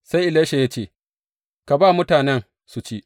Sai Elisha ya ce, Ka ba mutanen su ci.